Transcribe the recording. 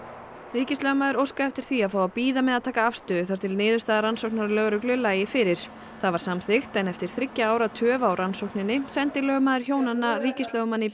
ríkislögmaður óskaði eftir því að fá að bíða með að taka afstöðu þar til niðurstaða rannsóknar lögreglu lægi fyrir það var samþykkt en eftir þriggja ára töf á rannsókninni sendi lögmaður hjónanna ríkislögmanni